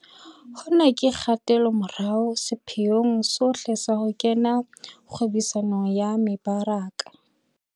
Hona ke kgatelomorao sepheong sohle sa ho kena kgwebisanong ya mebaraka.